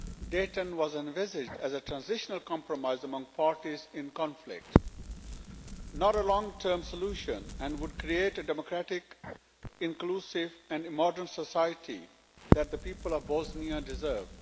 Dayton was envisaged as a transitional compromise among parties in conflict, not a long term solution, and would create a democratic inclusive and modern society that the people of Bosnia deserve.